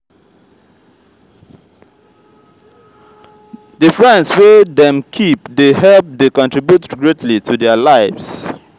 the friends wey dem keep de help de contribute greatly to their lives